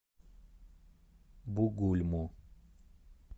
бугульму